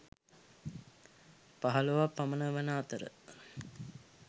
පහළොවක් පමණ වන අතර